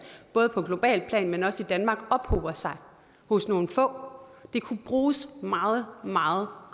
både på globalt plan men også i danmark ophober sig hos nogle få de kunne bruges meget meget